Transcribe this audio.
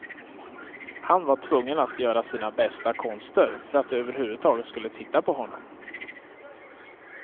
Han var tvungen att göra sina bästa konster för att de överhuvudtaget skulle titta på honom.